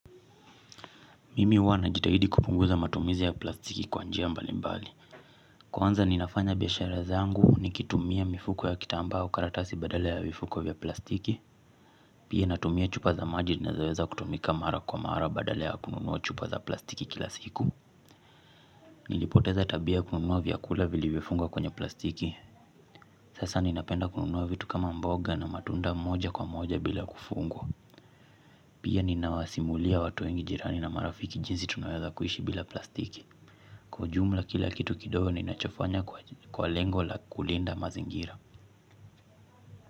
Mimi huwa najitahidi kupunguza matumizi ya plastiki kwa njia mbali mbali. Kwanza ninafanya biashara zangu nikitumia mifuko ya kitambaa au karatasi badala ya vifuko vya plastiki. Pia natumia chupa za maji nazoweza kutumika mara kwa mara badala ya kununua chupa za plastiki kila siku. Nilipoteza tabia kununua vyakula vilivyofungwa kwenye plastiki. Sasa ninapenda kununua vitu kama mboga na matunda moja kwa moja bila kufunga. Pia ninawasimulia watu wengi jirani na marafiki jinsi tunawaza kuishi bila plastiki. Kwa ujumla kila kitu kidogo ninachofanya kwa lengo la kulinda mazingira.